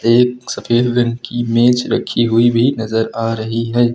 एक सफेद रंग की मेज रखी हुई भी नजर आ रही है।